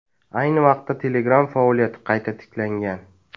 Ayni vaqtda Telegram faoliyati qayta tiklangan.